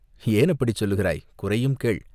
"ஏன் அப்படிச் சொல்கிறாய்?" "குறையும் கேள்!